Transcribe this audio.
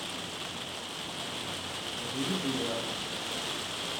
набери бульварные ужасы